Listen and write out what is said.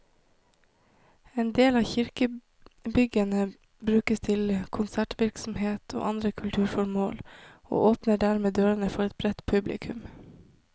En del av kirkebyggene brukes til konsertvirksomhet og andre kulturformål, og åpner dermed dørene for et bredt publikum.